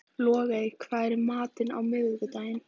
Logey, hvað er í matinn á miðvikudaginn?